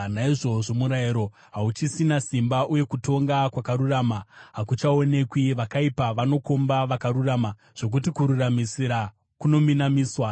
Naizvozvo murayiro hauchisina simba, uye kutonga kwakarurama hakuchaonekwi. Vakaipa vanokomba vakarurama, zvokuti kururamisira kunominamiswa.